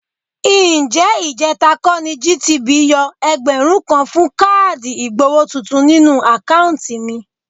Ǹjẹ́ ìjẹ̀ta kọ́ ni GTB yọ ẹgbẹ̀rún kan fún káàdì ìgbowó tuntun nínú àkáùntì mi?